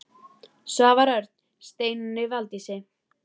Svavar Örn: Steinunni Valdísi?